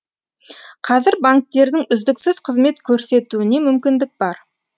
қазір банктердің үздіксіз қызмет көрсетуіне мүмкіндік бар